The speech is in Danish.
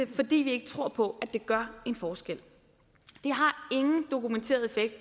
det fordi vi ikke tror på at det gør en forskel det har ingen dokumenteret effekt